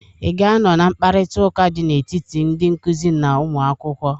I ga-anọ na mkparịta ụka dị n'etiti ndị nkụzị na ụmụakwụkwọ?